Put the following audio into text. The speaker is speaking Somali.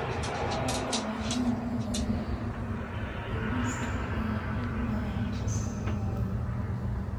Hababka dhaqanka ee wax dhigista ayaa ku badan fasalada wadanka.